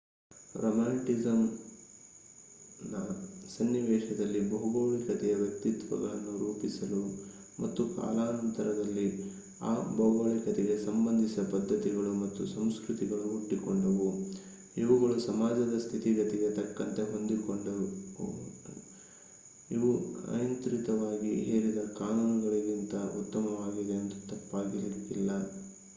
ರೊಮ್ಯಾಂಟಿಸಿಸಂನ ಸನ್ನಿವೇಶದಲ್ಲಿ ಭೌಗೋಳಿಕತೆಯು ವ್ಯಕ್ತಿತ್ವಗಳನ್ನು ರೂಪಿಸಿತು ಮತ್ತು ಕಾಲಾನಂತರದಲ್ಲಿ ಆ ಭೌಗೋಳಿಕತೆಗೆ ಸಂಬಂಧಿಸಿದ ಪದ್ಧತಿಗಳು ಮತ್ತು ಸಂಸ್ಕೃತಿಗಳು ಹುಟ್ಟಿಕೊಂಡವು ಇವುಗಳು ಸಮಾಜದ ಸ್ಥಿತಿಗತಿಗೆ ತಕ್ಕಂತೆ ಹೊಂದಿಕೆಗೊಂಡವು ಇವು ಅನಿಯಂತ್ರಿತವಾಗಿ ಹೇರಿದ ಕಾನೂನುಗಳಿಗಿಂತ ಉತ್ತಮವಾಗಿವೆ ಎಂದರೆ ತಪ್ಪಾಗಿಲಿಕ್ಕಿಲ್ಲ